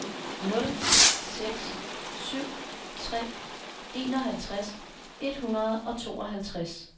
nul seks syv tre enoghalvtreds et hundrede og tooghalvtreds